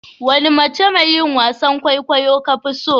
Wani mace mai yin wasan kwaikwayo ka fi so?